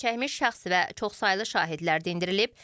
Zərərçəkmiş şəxs və çoxsaylı şahidlər dindirilib.